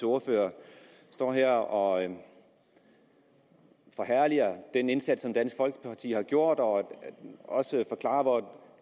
ordfører står her og forherliger den indsats som dansk folkeparti har gjort og også forklarer hvor